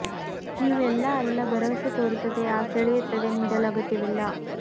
ನೀವು ಎಲ್ಲಾ ಅಲ್ಲ ಭರವಸೆ ತೋರುತ್ತದೆ ಆ ಸೆಳೆಯುತ್ತದೆ ನೀಡಲು ಅಗತ್ಯವಿಲ್ಲ